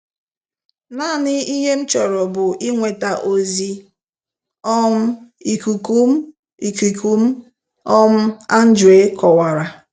"Naanị ihe m chọrọ bụ inweta ozi um ikuku m, ikuku m, um Andre kowara"